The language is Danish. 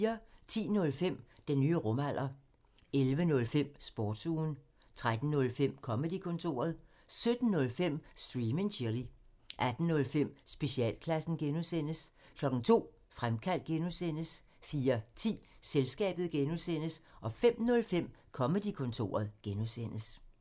10:05: Den nye rumalder 11:05: Sportsugen 13:05: Comedy-kontoret 17:05: Stream and chill 18:05: Specialklassen (G) 02:00: Fremkaldt (G) 04:10: Selskabet (G) 05:05: Comedy-kontoret (G)